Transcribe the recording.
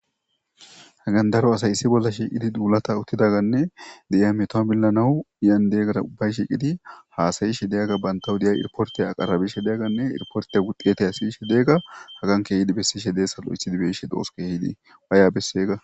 Hagandaro asayissi bolla shiiqidi duulata uttidaganne di'ya metom millanahu iyandeeggara ubbay shiiqidi haasayishe degga banta hudiya irportey aqarabishe deegganne irporteya wuxiyetay aasayishe deegga hagankeydi bessishe deessalo issi dibeishe dooske hidi baya bessega